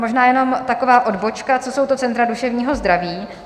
Možná jenom taková odbočka - co jsou to centra duševního zdraví?